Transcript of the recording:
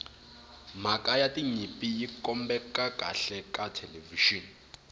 mhaka ya tinyimpi yi kombeka kahle ka thelevixini